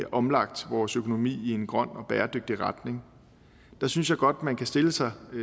omlagt vores økonomi i en grøn og bæredygtig retning synes jeg godt man kan stille sig